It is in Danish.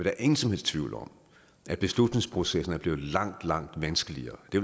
er ingen som helst tvivl om at beslutningsprocessen er blevet langt langt vanskeligere det